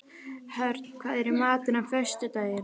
Hörn, hvað er í matinn á föstudaginn?